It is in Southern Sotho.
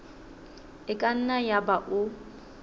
e ka nna yaba o